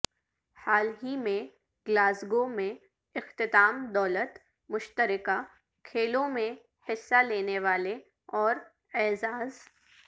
حال ہی میں گلاسگو میں اختتام دولت مشترکہ کھیلوں میں حصہ لینے والے اور اعزاز